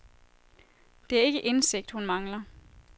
Det er ikke indsigt, hun mangler.